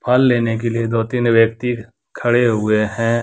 फल लेने के लिए दो-तीन व्यक्ति खड़े हुए हैं।